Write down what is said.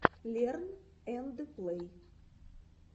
лерн энд плэй